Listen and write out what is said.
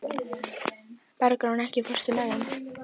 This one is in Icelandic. Bergrán, ekki fórstu með þeim?